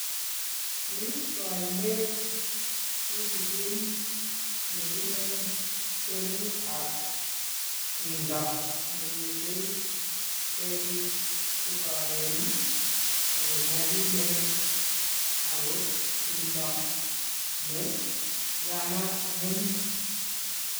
Ni ko oinet kitigen nebunu kwenut ab tumdo nemiten ketik chegooen ako nyalilen ako, tumdo ne yamat ng'wenyu.